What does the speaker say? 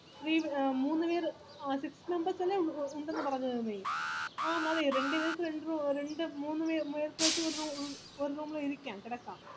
three മൂന്നുപേര് ആ six members അല്ലെ ഉ ഉണ്ടെന്ന് പറഞ്ഞമതി ആഹ് മതി രണ്ട് പേര് വെച് രണ്ട് റു ഒ രണ്ട് മൂ മൂന്ന് പേർക്ക് വെച് ഒര് റു room ഇൽ ഇരിക്കാം കിടക്കാം